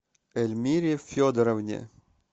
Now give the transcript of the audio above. эльмире федоровне